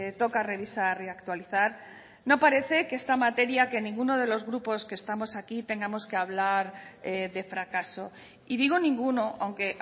toca revisar y actualizar no parece que en esta materia que ninguno de los grupos que estamos aquí tengamos que hablar de fracaso y digo ninguno aunque